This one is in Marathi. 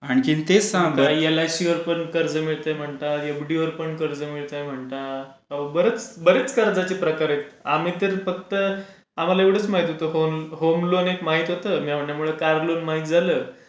आणखीन ते सांगा एलआयसी वर पण कर्ज मिळते म्हणता एफडीवर पण कर्ज मिळते म्हणतात बरेच कर्जाचे प्रकार आहे आम्ही तेच बघतेत आम्हला एवढंच एक महती होता होम लोन एक महती होता कार लोन एक महती झाला